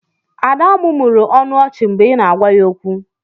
Ada mụmụrụ ọnụ ọchị mgbe ị na-agwa ya okwu.